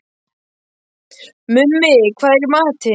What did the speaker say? Mummi, hvað er í matinn?